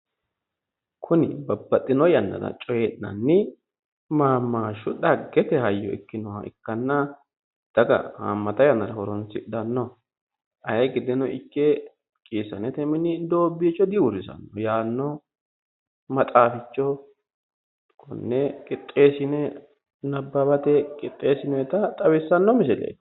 Kuni Babbaxxino yannara coyii'nanni mammaashshu dhaggete hayyo ikkinoha ikkanna daga haammata yannara horonsidhanno ayee gedeno ikke qiissa'nete mini doobbiicho diuurrisanno yaanno maxaaficho konne qixxeessine nabbawate qixxeessinoyiita xawissanno misileeti.